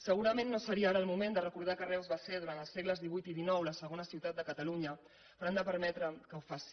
segurament no seria ara el moment de recordar que reus va ser durant els segles xviii i xix la segona ciutat de catalunya però han de permetre que ho faci